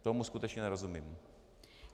Tomu skutečně nerozumím.